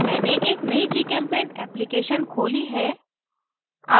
मैंने एक नयी gchempaint application खोली है